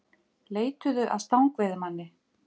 Leituðu að stangveiðimanni